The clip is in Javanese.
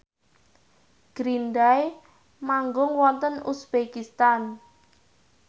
Green Day manggung wonten uzbekistan